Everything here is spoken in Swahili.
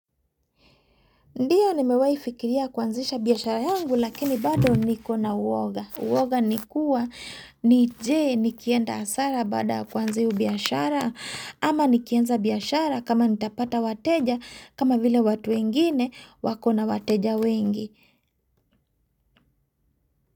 Ndiyo ni mewai fikiria kuanzisha biashara yangu lakini bado niko na uwoga. Uwoga nikua ni je nikienda hasara baada kwanza iyo biashara ama nikienza biashara kama nitapata wateja kama vile watu wengine wako na wateja wengi.